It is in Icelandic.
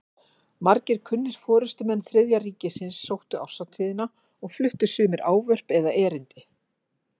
Margir kunnir forystumenn Þriðja ríkisins sóttu árshátíðina og fluttu sumir ávörp eða erindi.